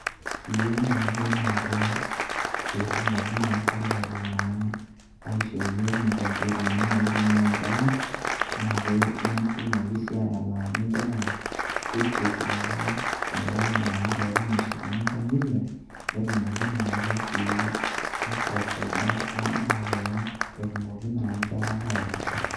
Keyeu naake, naa ke pee etumoki naa sirkali naa aishoo iyiok inkomputani naitumia nkera naa ke netumoki sii atalaaki nkera school fees peeku melau naa peeku meshukuni nkang'itie netumoki naake sii aiprovaida we ndaa pee etumoki naa nkera ainasa.